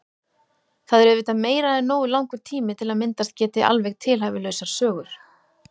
Það er auðvitað meira en nógu langur tími til að myndast geti alveg tilhæfulausar sögur.